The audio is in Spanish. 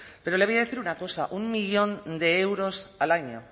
pero le voy a decir una cosa un millón de euros al año